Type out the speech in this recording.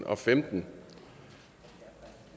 afstemningen